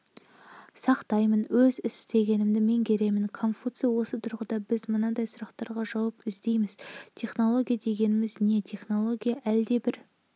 сақтаймын өз істегенімді меңгеремін конфуций осы тұрғыда біз мынадай сұрақтарға жауап іздейміз технология дегеніміз не технология-әлдебір